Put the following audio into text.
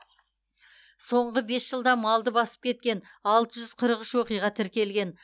соңғы бес жылда малды басып кеткен алты жүз қырық үш оқиға тіркелген